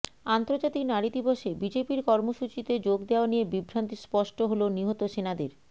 আন্তর্জাতিক নারী দিবসে বিজেপির কর্মসূচিতে যোগ দেওয়া নিয়ে বিভ্রান্তি স্পষ্ট হল নিহত সেনাদের